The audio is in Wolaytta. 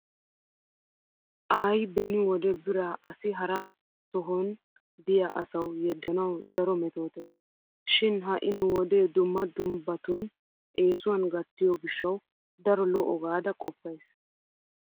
Aaay beni wode biraa issi hara sohan diya aswu yeddanawu daro metootees. Shin ha"i nu wode dumma dummbatun eesuwan gattiyo gishshawu daro lo'o gaada qoppays.